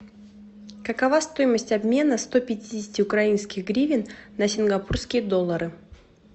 какова стоимость обмена сто пятидесяти украинских гривен на сингапурские доллары